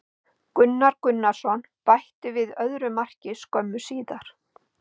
Gunnar Gunnarsson bætti við öðru marki skömmu síðar.